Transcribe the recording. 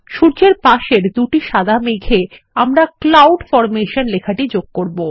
সূর্যের পাশের দুটি সাদা মেঘে আমরা ক্লাউড ফরমেশন লেখাটি যোগ করব